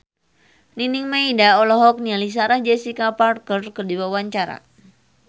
Nining Meida olohok ningali Sarah Jessica Parker keur diwawancara